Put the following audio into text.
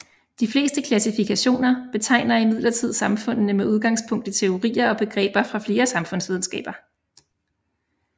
De fleste klassifikationer betegner imidlertid samfundene med udgangspunkt i teorier og begreber fra flere samfundsvidenskaber